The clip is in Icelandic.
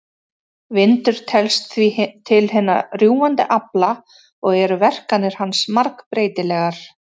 Vindur telst því til hinna rjúfandi afla og eru verkanir hans margbreytilegar.